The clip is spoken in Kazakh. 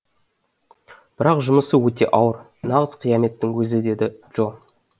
бірақ жұмысы өте ауыр нағыз қияметтің өзі деді джо